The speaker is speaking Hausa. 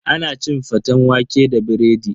Ana cin faten waƙe da biredi.